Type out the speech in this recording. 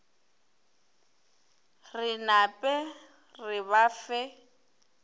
re nape re ba fe